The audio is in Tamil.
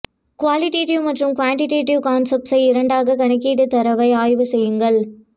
குவாலிட்டிவ் மற்றும் குவாண்ட்டிவேட்டிவ் கான்செப்ட்ஸை இரண்டாகக் கணக்கிட தரவை ஆய்வு செய்யுங்கள்